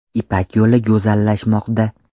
Ipak yo‘li go‘zallashmoqda!”.